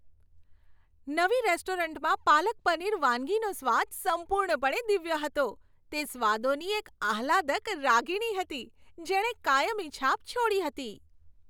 નવી રેસ્ટોરન્ટમાં પાલક પનીર વાનગીનો સ્વાદ સંપૂર્ણપણે દિવ્ય હતો, તે સ્વાદોની એક આહલાદક રાગીણી હતી, જેણે કાયમી છાપ છોડી હતી.